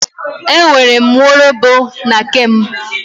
E nwere m nwaologbo na be m.